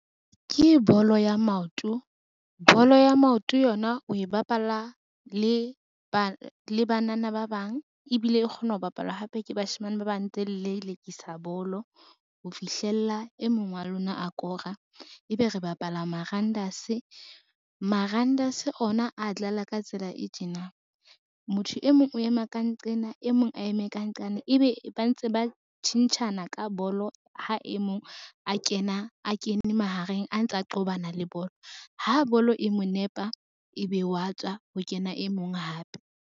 Ke bolo ya maoto, bolo ya maoto yona o e bapala le banana ba bang ebile e kgona ho bapalwa hape ke bashemane ba bang tse lelekisa bolo, ho fihlella e mong wa lona a kora. Ebe re bapala marandase, marandase ona a dlala ka tsela e tjena, motho e mong o ema ka nqena e mong a eme ka nqane, ebe ba ntse ba tjhentjhana ka bolo ha e mong a kene mahareng a ntsa qobana le bolo, ha bolo e mo nepa ebe wa tswa ho kena e mong hape.